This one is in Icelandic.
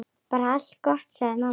Bara allt gott, sagði mamma.